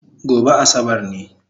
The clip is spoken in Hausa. Gobe Asabar ne